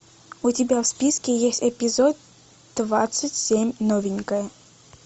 у тебя в списке есть эпизод двадцать семь новенькая